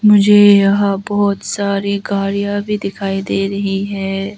मुझे यहां बहुत सारी गाड़ियां भी दिखाई दे रही है।